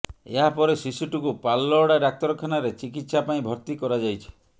ଏହାପରେ ଶିଶୁଟିକୁ ପାଲଲହଡ଼ା ଡାକ୍ତରଖାନାରେ ଚିକିତ୍ସା ପାଇଁ ଭର୍ତ୍ତି କରାଯାଇଛି